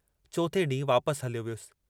चोथें डींहुं वापस हलियो वियुसि।